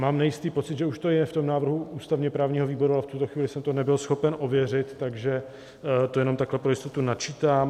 Mám nejistý pocit, že už to je v tom návrhu ústavně-právního výboru, ale v tuto chvíli jsem to nebyl schopen ověřit, takže to jenom takhle pro jistotu načítám.